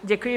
Děkuji.